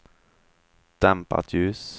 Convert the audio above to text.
dämpat ljus